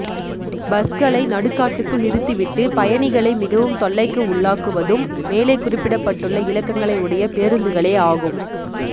பஸ்களை நடுக்காட்டுக்குள் நிறுத்தி விட்டு பயணிகளை மிகவும் தொல்லைக்கு உள்ளாக்குவதும் மேலே குறிப்பிடப்பட்டு்ளள இலக்கங்களை உடைய பேரூந்துகளே ஆகும்